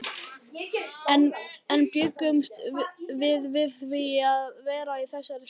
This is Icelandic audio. En bjuggumst við við því að vera í þessari stöðu?